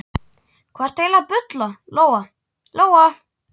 Hvað ertu eiginlega að bulla, Lóa Lóa?